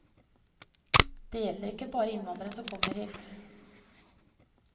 Dette gjelder ikke bare innvandrere som kommer hit.